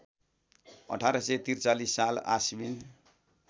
१८४३ साल आश्विन